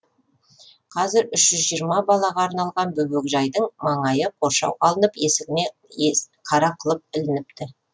қазір үш жүз жиырма балаға арналған бөбекжайдың маңайы қоршауға есігіне алынып қара құлып ілініпті